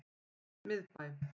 Miðbæ